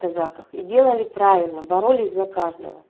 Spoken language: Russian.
казаках и делали правильно боролись за каждого